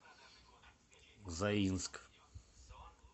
заинск